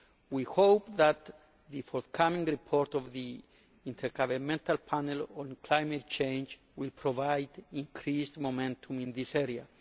We hope that the forthcoming report of the Intergovernmental Panel on Climate Change will provide increased momentum in this area.